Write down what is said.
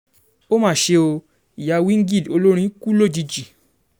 ó mà ṣe o ìyá wingid olórin kù lójijì